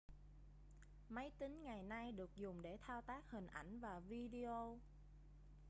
máy tính ngày nay được dùng để thao tác hình ảnh và video